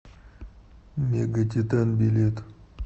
мегатитан билет